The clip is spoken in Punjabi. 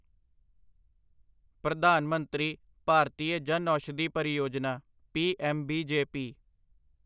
ਪ੍ਰਧਾਨ ਮੰਤਰੀ ਭਾਰਤੀਆ ਜਨੌਸ਼ਾਧੀ ਪਰਿਯੋਜਨਾ' ਪੀਐਮਬੀਜੇਪੀ